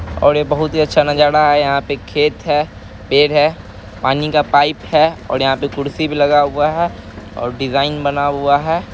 और ये बहुत ही अच्छा नजारा है | यहाँ पे खेत है पेड़ है पानी का पाइप है और यहाँ पे कुर्सी भी लगा हुआ है और डिजाईन बना हुआ है।